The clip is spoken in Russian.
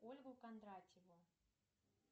ольгу кондратьеву